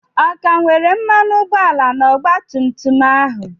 Ọ ka nwere mmanụ ụgbọala na ọgba tum tum ahụ?